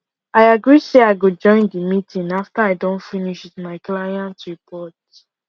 i agree say i go join the meeting after i don finish with my clientr report